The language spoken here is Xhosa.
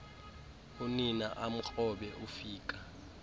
unina amkrobe ufika